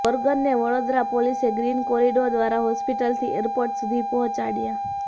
ઓર્ગનને વડોદરા પોલીસે green corridor દ્વારા hospital થી એરપોર્ટ સુધી પહોંચાડયા